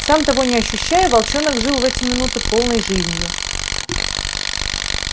сам того не ощущая волчонок жил в эти минуты полной жизнью